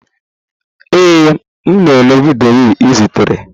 Ee, m na-ele vidiyo ị zitere.